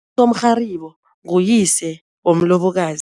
nguyise womlobokazi.